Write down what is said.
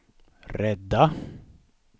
rädda